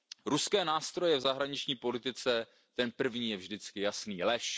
Ruské nástroje v zahraniční politice ten první je vždycky jasný, lež.